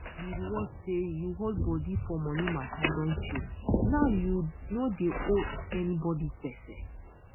di reward say u hold body for money mata don show now u no dey owe anybody gbese